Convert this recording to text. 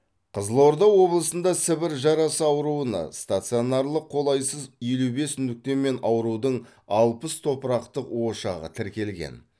қызылорда облысында сібір жарасы ауруына стационарлық қолайсыз елу бес нүкте мен аурудың алпыс топырақтық ошағы тіркелген